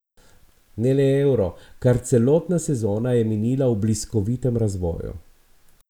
Ne le euro, kar celotna sezona je minila v bliskovitem razvoju.